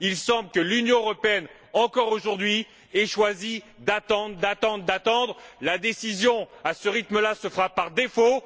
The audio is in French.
Il semble que l'Union européenne, encore aujourd'hui, ait choisi d'attendre sans fin. La décision, à ce rythme là, se fera par défaut.